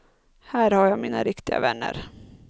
Här har jag mina riktiga vänner.